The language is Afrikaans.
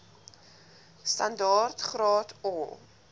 standaard graad or